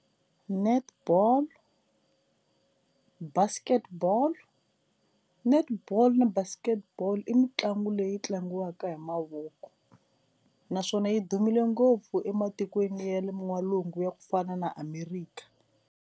Netball, Basketball, Netball na Basketball i mitlangu leyi tlangiwaka hi mavoko naswona yi dumile ngopfu ematikweni ya le n'walungu ya ku fana na America.